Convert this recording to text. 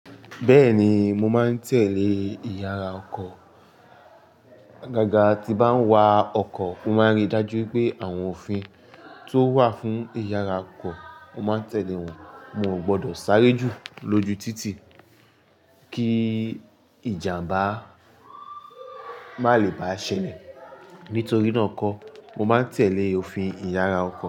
Bẹ́ẹ̀ni, mo máa ń tẹ̀lé ìyàrá ọkọ̀. Agaga, tí bá ń wa ọkọ̀, mo máa ń ríi dájú pé àwọn òfin tó wà fún ìyàrá ọkọ̀, mo máa ń tẹ̀lé wọ́n. Mo ò gbọdọ̀ sáré jù lójú títì kí ìjàmbá ma lè bá ṣẹlẹ̀. Nítorí náà n kọ́, mo máa ń tẹ̀lé òfin ìyàrá ọkọ̀.